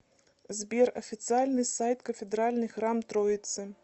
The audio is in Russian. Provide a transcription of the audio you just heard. сбер официальный сайт кафедральный храм троицы